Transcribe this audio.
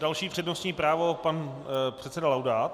Další přednostní právo - pan předseda Laudát.